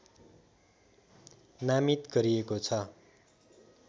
नामित गरिएको छ